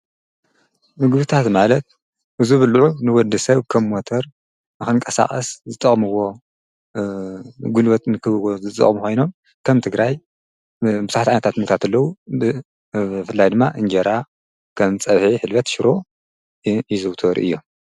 ምግብታት ማለት ዝቡሉዕ ንወደሰብ ከም ሞተር ንክቀሳቀስ ዝጠቅምዎ ጉልበት ንክህልዎ ዝጠቅሙ ኮይኖም ከም ትግራይ ቡዙሓታት ዓይታት ምግብታት አለዎ። ብፍላይ ድማ እንጀራ ከም ፀብሒ ሕልበት ሽሮ ይዝውተሩ እዮም።